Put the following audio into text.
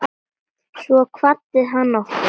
Svo kvaddi hann okkur.